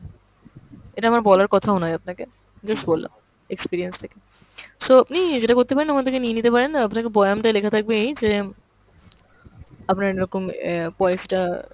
এটা আমার বলার কথাও নয় আপনাকে, just বললাম experience থেকে। so আপনি যেটা করতে পারেন ওখান থেকে নিয়ে নিতে পারেন, আপনাকে বয়ান টাই লেখা থাকবে এই যে আপনার এরকম অ্যাঁ পয়সাটা